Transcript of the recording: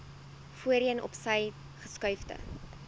voorheen opsy geskuifde